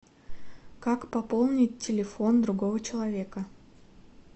как пополнить телефон другого человека